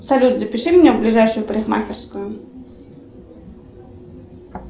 салют запиши меня в ближайшую парикмахерскую